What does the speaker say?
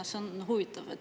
See on huvitav.